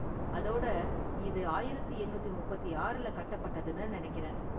அதோட, இது ஆயிரத்து எண்ணூத்தி முப்பத்தி ஆறுல கட்டப்பட்டதுன்னு நெனைக்கிறேன்.